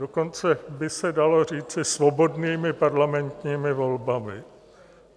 Dokonce by se dalo říci svobodnými parlamentními volbami.